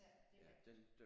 Ja det er rigtigt